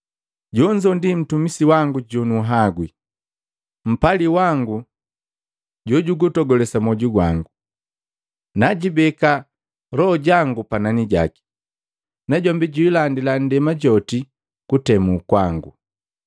“Jonzo ndi mtumisi wangu jonuhagwi, mpali wangu jojugutogulesa mwoju wangu. Naajibeka loho jangu panani jaki, najombi jwiilandila nndema joti kutemu kwangu.